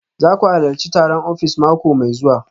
Za ku halarci taron ofis mako mai zuwa